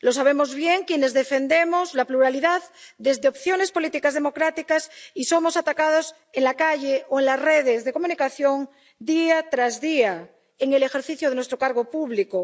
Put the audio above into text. Lo sabemos bien quienes defendemos la pluralidad desde opciones políticas democráticas y somos atacados en la calle o en las redes de comunicación día tras día en el ejercicio de nuestro cargo público.